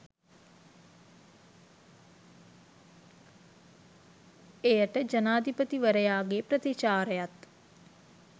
එයට ජනාධිපතිවරයාගේ ප්‍රතිචාරයත්